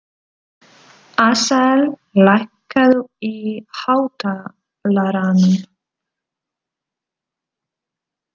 Asael, lækkaðu í hátalaranum.